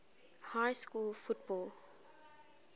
high school football